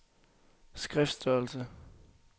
skriftstørrelse